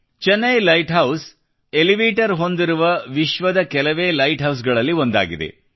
Chennai lighthouse elevator ಹೊಂದಿರುವವಿಶ್ವದ ಕೆಲವೇ ಲೈಟ್ ಹೌಸ್ಗಳಲ್ಲಿ ಒಂದಾಗಿದೆ